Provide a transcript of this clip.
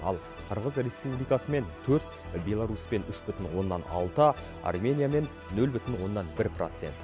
ал қырғыз республикасымен төрт беларусьпен үш бүтін оннан алты армениямен нөл бүтін оннан бір процент